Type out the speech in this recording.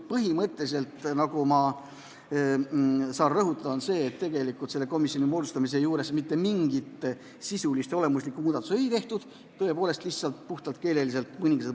Põhimõtteliselt ei ole selle komisjoni moodustamise juures mitte mingit sisulist ega olemuslikku muudatust tehtud, on lihtsalt mõningad puhtalt keelelised täpsustused.